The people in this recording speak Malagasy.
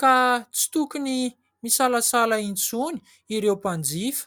ka tsy tokony isalasala intsony ireo mpanjifa.